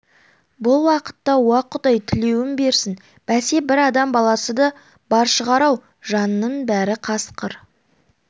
бұл уақытта уа құдай тілеуің берсін бәсе бір адам баласы да бар шығар-ау жанның бәрі қасқыр